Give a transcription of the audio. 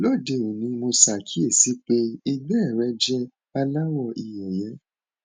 lóde òní mo ṣàkíyèsí pé ìgbẹ rẹ jẹ aláwọ ìyeyè